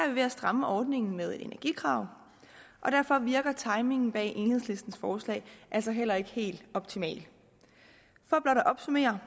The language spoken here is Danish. vi ved at stramme ordningen med energikrav og derfor virker timingen bag enhedslistens forslag altså heller ikke helt optimal for blot at opsummere